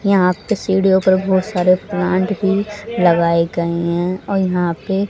यहां पे सीढ़ियों पर बहोत सारे प्लांट भी लगाए गए हैं और यहां पे--